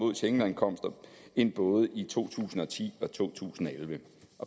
schengenankomster end både i to tusind og ti og to tusind og elleve